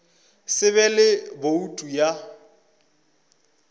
se be le boutu ya